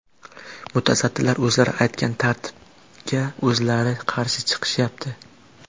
Mutasaddilar o‘zlari aytgan tartibga o‘zlari qarshi chiqishyapti.